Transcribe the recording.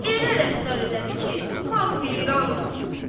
Elə rəftar elədi ki, xalq heyran qaldı.